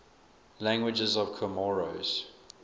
languages of comoros